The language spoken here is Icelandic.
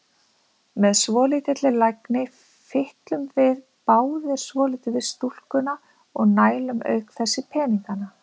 Með svolítilli lagni fitlum við báðir svolítið við stúlkuna og nælum auk þess í peningana.